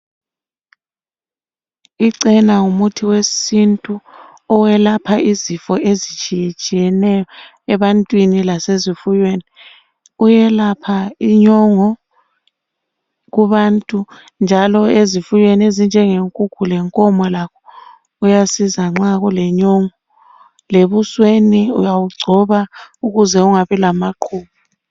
Icena ngumuthi wesintu oyelapha izifo ezitshiya tshiyeneyo ebantwini lasezifuyweni uyelapha inyongo kubantu njalo ezifuyweni njengenkukhu lenkomo lakho kuyasiza nxa kulenyongo lebusweni uyawungcoba ukuze ungabi lamaqhubu